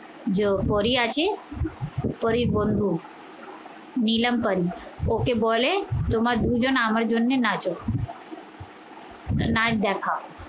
পরী আছে, পরীর বন্ধু নিলাম পারি ওকে বলে তোমার দুজন আমার জন্যে নাচো। নাইচ দেখা ও।